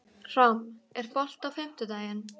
Ram, er bolti á fimmtudaginn?